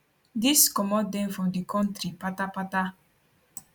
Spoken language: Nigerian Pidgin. dis comot dem from di kontri patapata